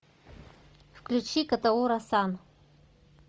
включи котоура сан